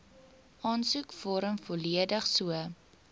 aansoekvorm volledig so